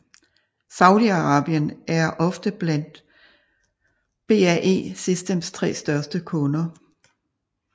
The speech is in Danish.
Saudi Arabien er ofte blandt BAE Systems tre største kunder